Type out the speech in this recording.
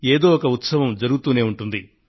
ఏదో ఒక ఉత్సవం జరుగుతూనే ఉంటుంది